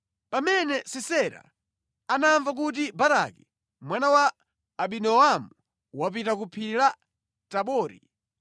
Pamene Sisera anamva kuti Baraki mwana wa Abinoamu wapita ku phiri la Tabori,